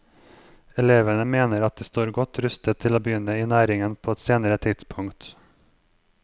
Elevene mener at de står godt rustet til å begynne i næringen på et senere tidspunkt.